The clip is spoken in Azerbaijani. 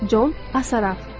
Con Assaraf.